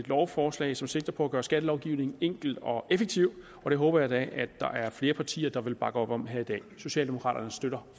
lovforslag som sigter på at gøre skattelovgivningen enkel og effektiv og det håber jeg da at der er flere partier der vil bakke op om her i dag socialdemokraterne støtter